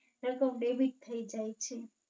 રહેતો Baby જ થી જાય છે.